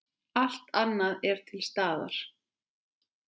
Allt annað er til staðar.